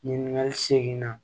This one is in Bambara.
Ɲininkali segin na